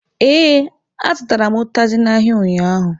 Ee, azụtara m ụtazị n'ahịa ụnyaahụ.